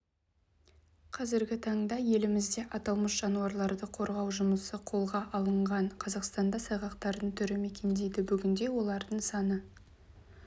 қазіргі таңда елімізде аталмыш жануарларды қорғау жұмысы қолға алынған қазақстанда сайғақтардың түрі мекендейді бүгінде олардың саны